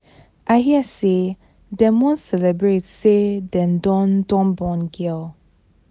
I hear say dem wan celebrate say dem don don born girl